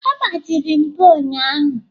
Ọ gbajiri mbo ụnyahụ?